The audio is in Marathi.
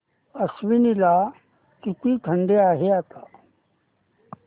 आश्वी ला किती थंडी आहे आता